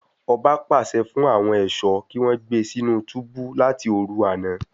Ọba pàṣẹ fún àwọn ẹṣọ kí wọn gbé sínú túbú láti òru àna